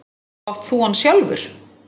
Og átt þú hann sjálfur?